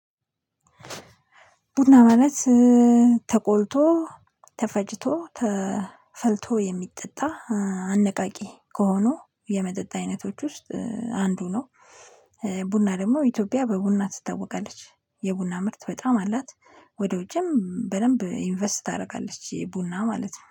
ቡና ማለት ተቆልቶ ተፈጭቶ ተፈልቶ የሚጠጣ አነቃቂ ከሆኑ የመጠጥ አይነቶች ውስጥ አንዱ ነው። ቡና ደግሞ ኢትዮጵያ በቡና ትታወቃለች የቡና ምርት በጣም አላት። ወደ ውጭም በደንብ ኢንቨስት ታደርጋለች የቡና ማለት ነው